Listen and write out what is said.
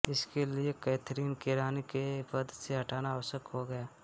इसके लिये कैथरीन को रानी के पद से हटाना आवश्यक हो गया